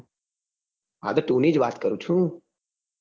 હા તો two ની જ વાત કરું છે.